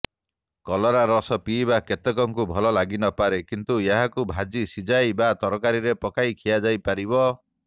କଲରା ରସ ପିଇବା କେତେକଙ୍କୁ ଭଲ ଲାଗିନପାରେ କିନ୍ତୁ ଏହାକୁ ଭାଜି ସିଝାଇ ବା ତରକାରୀରେ ପକାଇ ଖିଆଯାଇପାରିବ